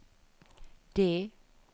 D